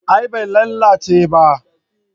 A'a bai lalace ba